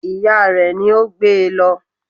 Ìya rẹ̀ ni ó gbé e lọ